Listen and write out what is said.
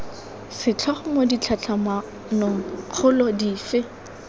setlhogo mo ditlhatlhamanong kgolo dife